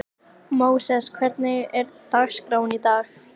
Þótt hann væri enn útitekinn höfðu veikindin tekið sinn toll.